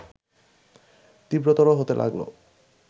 তীব্রতর হতে লাগল